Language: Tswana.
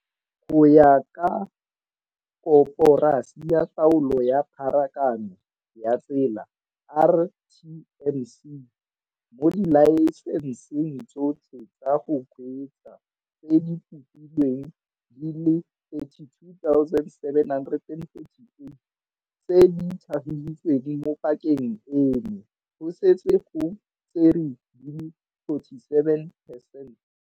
Go ya ka Koporasi ya Taolo ya Pharakano ya Tsela, RTMC, mo dilae senseng tsotlhe tsa go kgweetsa tse di kopilweng di le 32 748 tse di tlhagisitsweng mo pakeng eno, go setse go tserwe di le 47 percent.